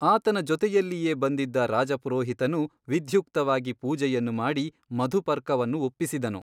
ಆತನ ಜೊತೆಯಲ್ಲಿಯೇ ಬಂದಿದ್ದ ರಾಜಪುರೋಹಿತನು ವಿಧ್ಯುಕ್ತವಾಗಿ ಪೂಜೆಯನ್ನು ಮಾಡಿ ಮಧುಪರ್ಕವನ್ನು ಒಪ್ಪಿಸಿದನು.